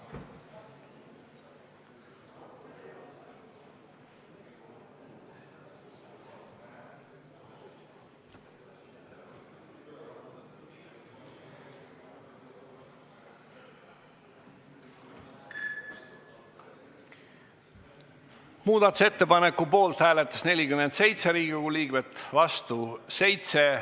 Hääletustulemused Muudatusettepaneku poolt hääletas 47 Riigikogu liiget, vastu 7.